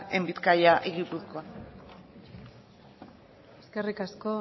en bizkaia y gipuzkoa eskerrik asko